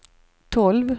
tolv